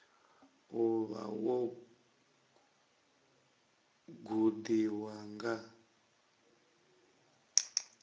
u vha wo gudiwa nga